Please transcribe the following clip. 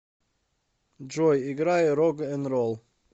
джой играй рог н ролл